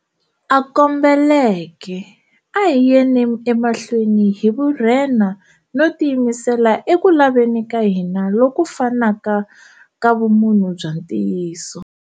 A kombeleke, a hi yeni emahlweni hi vurhenha no tiyimisela eku laveni ka hina loku fanaka ka vumunhu bya ntiyiso.